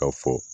Ka fɔ